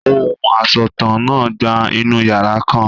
Ohùn asọ̀tàn náà gba inú yàrá kan.